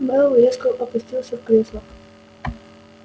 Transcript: мэллоу резко опустился в кресло